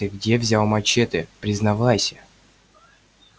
ты где взял мачете признавайся